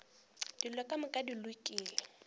dilo ka moka di lokile